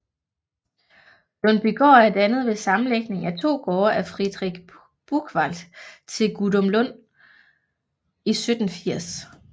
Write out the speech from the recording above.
Lundbygaard er dannet ved sammenlægning af 2 gårde af Friedrich Buchwald til Gudumlund i 1780